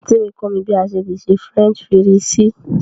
Anti mi kọ mi bí à sẹ le sè French fírìsí.